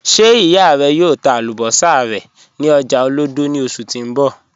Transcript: Ṣe iya rẹ yòò tà àlúbọ̀ṣà rẹ ni ọ̀jà Olodo ni oṣù ti n bọ?